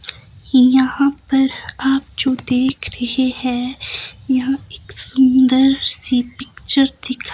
यहां पर आप जो देख रहे हैं यह एक सुंदर सी पिक्चर दिखा--